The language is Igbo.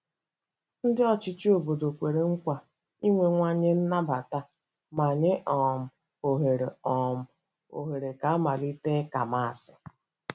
Ndị ọchịchị obodo kwere nkwa inwewanye nnabata ma nye um ohere um ohere ka amalite ịka Maasị